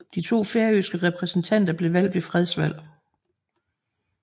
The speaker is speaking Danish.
De to færøske repræsentanter blev valgt ved fredsvalg